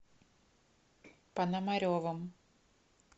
пономаревым